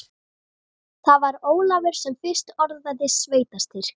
Það var Ólafur sem fyrst orðaði sveitarstyrk.